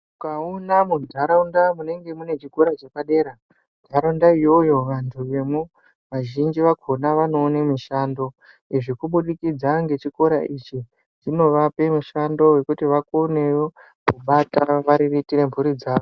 Ukaona mundaraunda munenge mune chikora chepadera ndaraunda iyoyo antu emo azhinji akona anowone mishando ezvekubudikidza ngechikora ichi zvinovape mushando wekuto vakonewo kubata vari vetembure mhuri dzavo